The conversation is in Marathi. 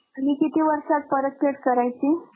आणि किती वर्षात परत paid करायची.